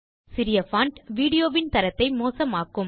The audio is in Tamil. சிறிய பான்ட் வீடியோ வின் தரத்தை மோசமாக்கும்